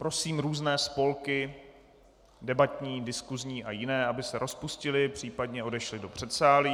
Prosím různé spolky debatní, diskusní a jiné, aby se rozpustily, případně odešly do předsálí.